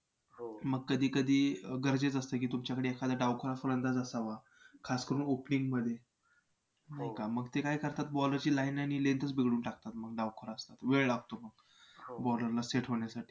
तु ना तुला जे हवं असेल ते तु घेऊ शकतेस.